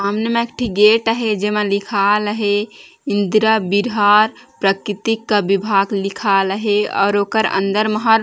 सामने म एक ठी गेट अहे जेमा लिखाल अहे इंद्रा वीर्हार प्रकृति का विभाग लिखाल अहे और ओकर अंदर म हर --